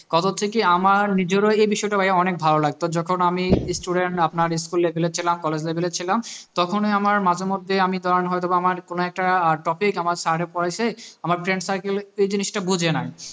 কত থেকে আমার নিজেরও এই বিষয়টা ভাই অনেক ভালো লাগতো যখন আমি student আপনারা school level এর ছিলাম college level এর ছিলাম তখন ওই আমার মাঝে মধ্যে আমি তোমার বা আমি হয়তো আমার কোনো একটা topic আমার sir এ পড়েছে আমার friend circle এই জিনিসটা বোঝে নাই